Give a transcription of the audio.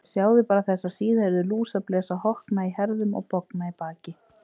Sjáðu bara þessa síðhærðu lúsablesa, hokna í herðum og bogna í baki.